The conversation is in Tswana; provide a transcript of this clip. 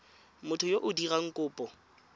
motho yo o dirang kopo